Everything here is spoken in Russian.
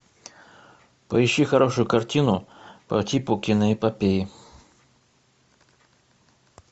поищи хорошую картину по типу киножпопеи